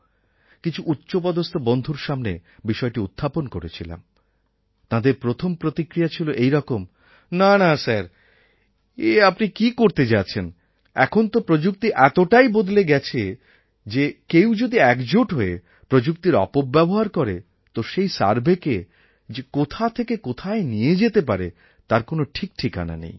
কিছু উচ্চপদস্থ বন্ধুর সামনে বিষয়টি উত্থাপন করেছিলাম তাঁদের প্রথম প্রতিক্রিয়া ছিল এই রকম না না স্যার এ আপনি কী করতে যাচ্ছেন এখন তো প্রযুক্তি এতটাই বদলে গেছে যে কেউ যদি একজোট হয়ে প্রযুক্তির অপব্যবহার করে তো সেই surveyকে যে কোথা থেকে কোথায় নিয়ে যেতে পারে তার কোন ঠিকঠিকানা নেই